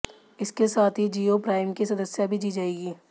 इसके साथ ही जियो प्राइम की सदस्यता भी दी जाएगी